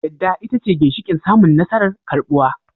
Yadda ita ce ginshiƙin samun nasarar karɓuwa